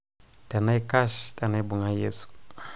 tenaikash tenaibung' Yesu